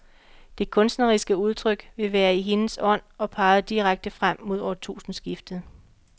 Det kunstneriske udtryk vil være i hendes ånd og pege direkte frem mod årtusindeskiftet.